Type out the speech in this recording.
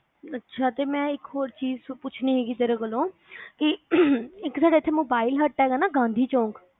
ਅੱਛਾ ਤੇ ਮੈਂ ਇੱਕ ਚੀਜ਼ ਹੋਰ ਪੁੱਛਣੀ ਹਿਗੀ ਤੇਰੇ ਕੋਲੋਂ ਇਕ ਤੁਹਾਡਾ ਇੱਥੇ mobile hut ਹੈਗਾ ਨਾ ਗਾਂਧੀ ਚੌਂਕ